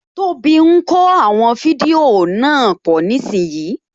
Tóbi ń kó àwọn fídíò náà pọ̀ nísìínyi